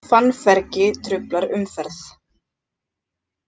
Fannfergi truflar umferð